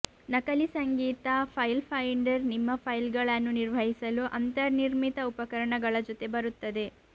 ನಕಲಿ ಸಂಗೀತ file finder ನಿಮ್ಮ ಫೈಲ್ಗಳನ್ನು ನಿರ್ವಹಿಸಲು ಅಂತರ್ನಿರ್ಮಿತ ಉಪಕರಣಗಳ ಜೊತೆ ಬರುತ್ತದೆ